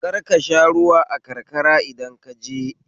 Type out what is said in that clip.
Kar ka sha ruwa a karkara idan kaje